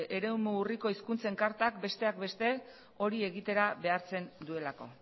eremu urriko hizkuntzen kartak besteak beste hori egitera behartzen duelako